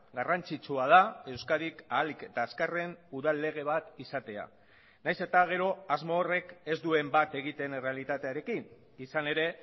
garrantzitsua da euskadik ahalik eta azkarren udal lege bat izatea nahiz eta gero asmo horrek ez duen bat egiten errealitatearekin izan ere